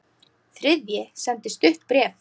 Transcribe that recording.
Þriðji sendi stutt bréf